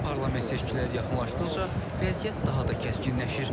Parlament seçkiləri yaxınlaşdıqca vəziyyət daha da kəskinləşir.